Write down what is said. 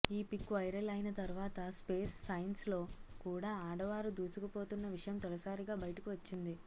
ఈ pic viral అయిన తర్వాత స్పేస్ సైన్స్ లో కూడా ఆడవారు దూసుకుపోతున్న విషయం తొలిసారిగా బయటకు వచ్చింది